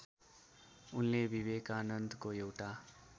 उनले विवेकानन्दको एउटा